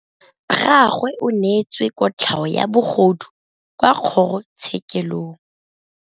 Rragwe o neetswe kotlhaô ya bogodu kwa kgoro tshêkêlông.